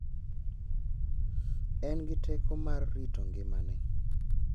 En gi teko mar rito ngimane .